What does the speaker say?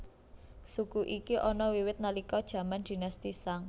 Suku iki ana wiwit nalika jaman Dinasti Shang